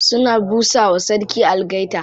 Suna busa wa sarki algaita.